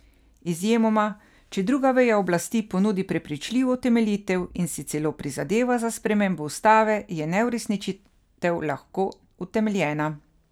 Izjemoma, če druga veja oblasti ponudi prepričljivo utemeljitev in si celo prizadeva za spremembo ustave, je neuresničitev lahko utemeljena.